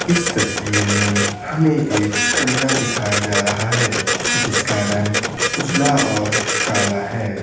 इस तस्वीर में हमें एककमरा दिखाया जा रहा है जिसका रंग उजला और काला है।